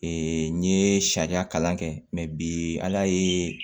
n ye sariya kalan kɛ mɛ bi ala ye